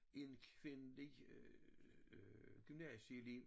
En kvindelig øh gymnasielev